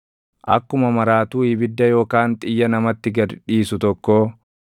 Akkuma maraatuu ibidda yookaan xiyya namatti gad dhiisu tokkoo